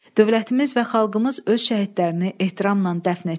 Dövlətimiz və xalqımız öz şəhidlərini ehtiramla dəfn etdi.